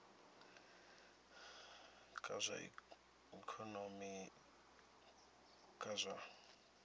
kha zwa ikonomi kha zwa